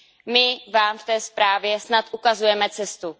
My vám v té zprávě snad ukazujeme cestu.